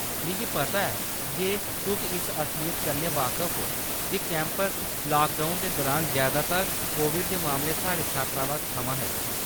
मिगी पता ऐ जे तुस इस असलियत कन्नै बाकफ ओ जे कैंपस लाकडाउन दे दुरान, जैदातर कोविड दे मामले साढ़े छात्रावास थमां हे।